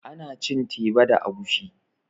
Ana cin teba da agushi